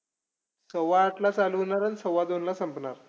सव्वा आठला चालू होणार आणि सव्वा दोनला संपणार.